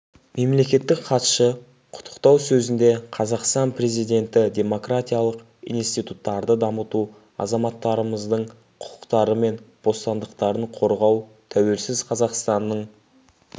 мемлекеттік хатшы құттықтау сөзінде қазақстан президенті демократиялық институттарды дамыту азаматтарымыздың құқықтары мен бостандықтарын қорғау тәуелсіз қазақстанның